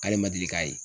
K'ale ma deli k'a ye